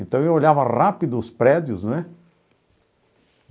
Então eu olhava rápido os prédios, né?